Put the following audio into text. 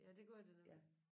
Ja det gør der nemlig